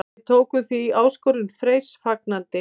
Við tókum því áskorun Freys fagnandi.